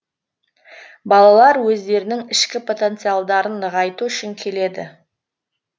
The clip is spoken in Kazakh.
балалар өздерінің ішкі потенциалдарын нығайту үшін келеді